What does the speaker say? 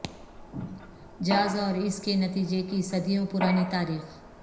jazz اور اس کے نتیجہ کے صدیوں پرانی تاریخ